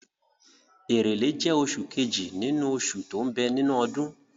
Èrèlé jẹ́ oṣù kejì nínú oṣù tó ń bẹ nínú ọdún.